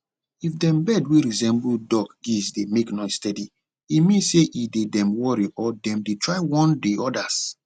if dem bird wey resemble duckgeesedey make noise steady e mean say e dey dem worry or dem dey try warn de odas